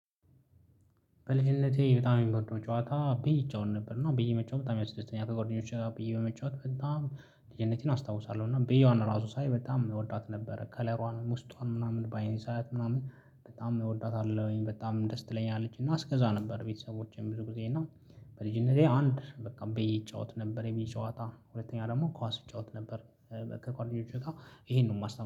በልጅነቴ በጣም የምወደው ጨዋታ ብይ እሜወት ነበር እና ብይ መጫወት በጣም ያስደስተኛል ከደኞቼ ጋ ብይ በመጫወት በጣም ልጅነቴን አስታውሳለሁ እና በየዋን ራሱ ሳይ በጣም የምወዳት ነበረ ከለሯን ውስጧን ምናምን ባይንዝ ሰዓት ምናምን በጣም እወዳታለሁኝ በጣም ደስ ትለኛለችና አስገዛ ነበር። ቤተሰቦቼም ብዙ ጊዜ እና በልጅነቴ አንድ በቃ ብይ ይጫወት ነበር የብይ ጨዋታ ሁለተኛ ደግሞ ኳስ ይጫወት ነበር። ከጓደኞቼ ጋር ይሄንን ነው የማስታውሰው